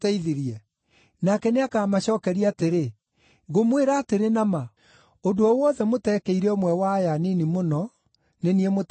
“Nake nĩakamacookeria atĩrĩ, ‘Ngũmwĩra atĩrĩ na ma, ũndũ o wothe mũteekire ũmwe wa aya anini mũno, nĩ niĩ mũteekĩire.’